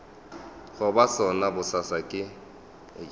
go ba sona bosasa ke